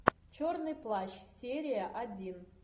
черный плащ серия один